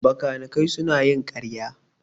Bakanikai suna yin ƙarya